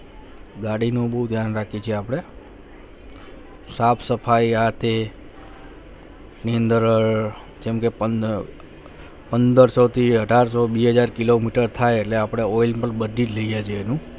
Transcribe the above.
ગાડી ના બહુ ધ્યાન રાખી છે અપને સાફ સફાઈ આ તે ઔધ અને પંદ્રહ પંદ્રહ-અઠાર સો બે હજાર Kilometer થાય તો oil પણ બદલી થયી ગયા નું